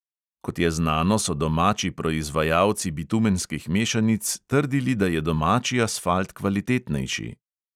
Kot je znano, so domači proizvajalci bitumenskih mešanic trdili, da je domači asfalt kvalitetnejši.